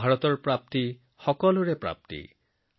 ভাৰতৰ ধাৰণা প্ৰতিজন ভাৰতীয়ৰ ধাৰণা